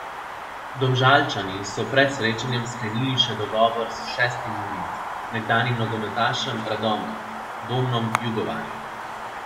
Domžalčani so pred srečanjem sklenili še dogovor s šestim novincem, nekdanjim nogometašem Radomelj Domnom Jugovarjem.